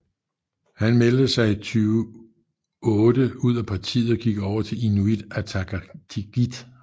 Han meldte sig i 2008 ud af partiet og gik over til Inuit Ataqatigiit